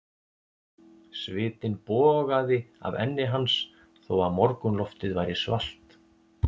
Svitinn bogaði af enni hans þó að morgunloftið væri svalt.